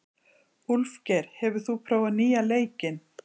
Úlfgeir, hefur þú prófað nýja leikinn?